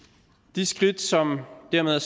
de skridt som dermed er